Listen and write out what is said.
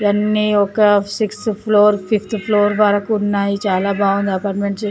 ఇవన్నీ ఒక sixth floor fifth floor వరకు ఉన్నాయి చాలా బాగుంది అపార్ట్మెంట్ .